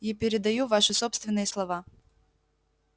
и передаю ваши собственные слова